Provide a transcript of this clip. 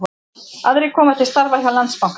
Aðrir koma til starfa hjá Landsbankanum